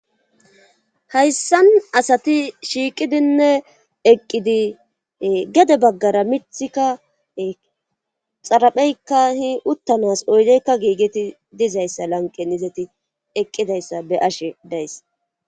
hayssan asati shiiqidinne eqqidii gedde baggara miththikka xarapheykka uttanas oydeykka giigeti dizayssa lanqenii izeti eqqidayssa be'ashe days